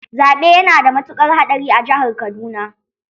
Zaɓe ya nada matukar haɗari a jihar Kaduna.